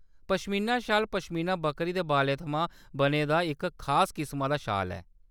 पश्मीना शाल पश्मीना बक्करी दे बालें थमां बने दा इक खास किसमा दा शाल ऐ।